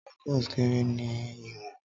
Tacos kere ni iwọn